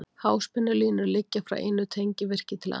Háspennulínur liggja frá einu tengivirki til annars.